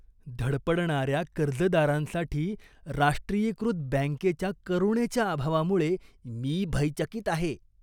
धडपडणाऱ्या कर्जदारांसाठी राष्ट्रीयीकृत बँकेच्या करुणेच्या अभावामुळे मी भयचकित आहे.